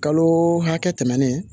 Kalo hakɛ tɛmɛnnen